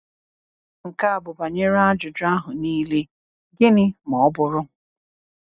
"Nke a bụ banyere ajụjụ ahụ niile, Gịnị ma ọ bụrụ?"